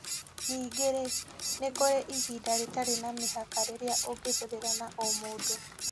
Ningĩ-rĩ, nĩ kũrĩ ihinda rĩtarĩ na mĩhaka rĩrĩa ũngĩhũthĩra na o mũndũ.